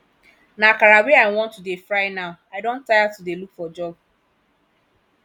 na akara wey i wan to dey fry now i don tire to dey look for job